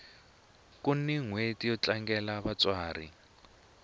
kuni nhweti yo tlangela vatsari